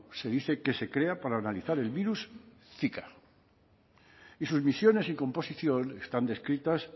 se dice que se crea para analizar el virus zika y sus misiones y composición están descritas